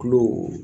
Kulo